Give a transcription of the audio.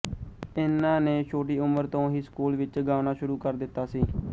ਇਹਨਾਂ ਨੇ ਛੋਟੀ ਉਮਰ ਤੋਂ ਹੀ ਸਕੂਲ ਵਿੱਚ ਗਾਉਣਾ ਸ਼ੁਰੂ ਕਰ ਦਿੱਤਾ ਸੀ